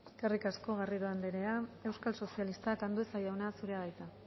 eskerrik asko garrido anderea euskal sozialistak andueza jauna zurea da hitza